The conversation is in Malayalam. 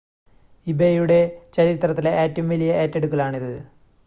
ഇബേയുടെ ചരിത്രത്തിലെ ഏറ്റവും വലിയ ഏറ്റെടുക്കലാണിത്